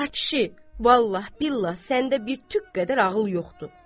Ay kişi, vallahi-billahi, səndə bir tük qədər ağıl yoxdur.